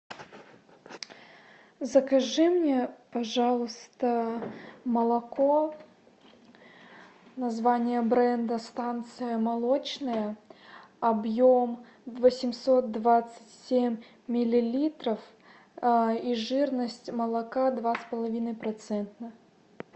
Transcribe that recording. закажи мне пожалуйста молоко название бренда станция молочная объем восемьсот двадцать семь миллилитров и жирность молока два с половиной процента